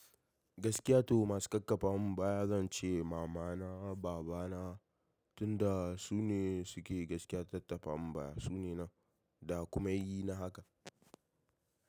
Gaskiya to masu kakkafan baya zan ce mama na baba na, tunda su ne su ke gaskiya tattafan baya, su ne nan da kuma yayyi na haka.